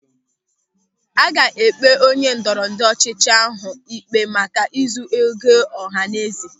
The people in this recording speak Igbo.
A ga-ekpe onye ndọrọ ndọrọ ọchịchị ahụ ikpe maka ịzụ ego ọhanaeze.